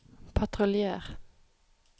patruljer